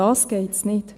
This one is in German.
Darum geht es nicht.